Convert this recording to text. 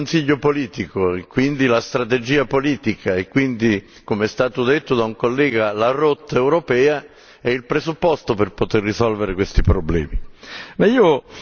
Io credo che il Consiglio politico e quindi la strategia politica e quindi, come è stato detto da un collega, la rotta europea sono il presupposto per poter risolvere questi problemi.